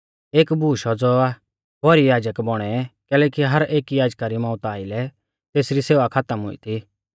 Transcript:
एक बूश औज़ौ आ भौरी याजक बौणै कैलैकि हर एकी याजका री मौउता आइलै तेसरी सेवा खातम हुई थी